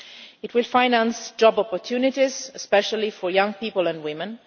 It will finance job opportunities, especially for young people and women.